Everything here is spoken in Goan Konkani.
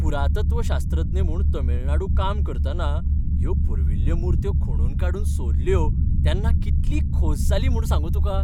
पुरातत्वशास्त्रज्ञ म्हूण तामिळनाडू काम करतना ह्यो पुर्विल्ल्यो मुर्त्यो खणून काडून सोदल्यो तेन्ना कितली खोस जाली म्हूण सांगूं तुका.